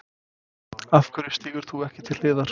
Af hverju stígur þú ekki til hliðar?